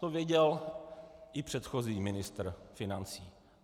To věděl i předchozí ministr financí.